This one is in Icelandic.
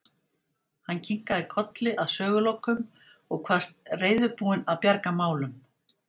Hann kinkaði kolli að sögulokum og kvaðst reiðubúinn að bjarga málum.